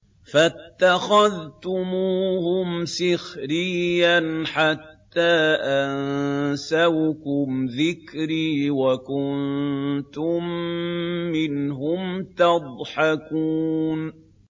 فَاتَّخَذْتُمُوهُمْ سِخْرِيًّا حَتَّىٰ أَنسَوْكُمْ ذِكْرِي وَكُنتُم مِّنْهُمْ تَضْحَكُونَ